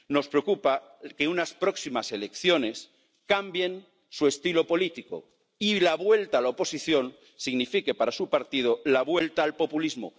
Nos preocupa que unas próximas elecciones cambien su estilo político y la vuelta a la oposición signifique para su partido la vuelta al populismo.